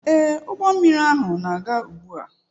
Ee, ụgbọ mmiri ahụ na-aga ugbu a.